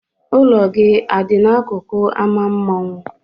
Ụlọ gị a dị n'akụkụ ámá mmanwụ.